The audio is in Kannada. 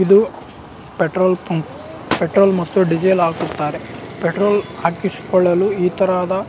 ಎದು ಪೆಟ್ರೋಲ್ ಪಂಪ್ ಪೆಟ್ರೋಲ್ ಮತ್ತು ಡಿಜಿಲ್ ಹಾಕುತ್ತಾರೆ ಪೆಟ್ರೋಲ್ ಹಾಕಲು ಇತರದ --